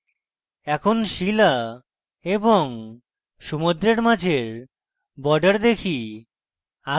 এখন শিলা এবং সমুদ্রের মাঝের border দেখি